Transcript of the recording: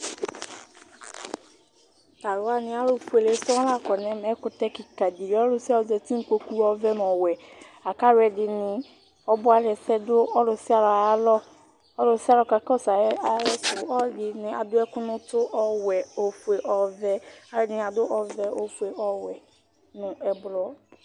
Tu aluwani alufuele sɔŋ la kɔ nu ɛmɛ Ɛkutɛ kikã ɖi yã Ɔlusialu zãti nu ukpoku ɔʋɛ nu ɔwɛ Laku ɔluɛdini, ɔbualɛsɛ ɖu ɔlù sia ɔlù ayu alɔ Ɔlù sia ɔlù ka kɔsu ayisu Aluɛɖini aɖu ɛku nu utu, ɔwɛ, ofue, ɔʋɛ Aluɛɖini aɖu ɔvɛ, ofue, ɔwɛ nu ɛblɔ